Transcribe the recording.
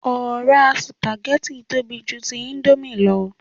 Ọ̀rá sùpàgẹ́tì tóbi ju ti íńdómì lọ